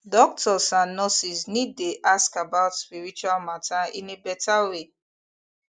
doctors and nurses need dey ask about spiritual matter in better way